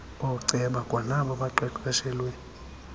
ooceba kwanabo baqeqeshelwe